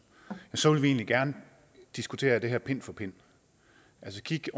så vil vi egentlig gerne diskutere det her pind for pind altså kigge